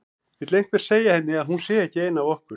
Vill einhver segja henni að hún sé ekki ein af okkur.